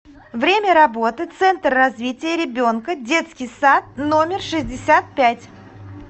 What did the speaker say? время работы центр развития ребенка детский сад номер шестьдесят пять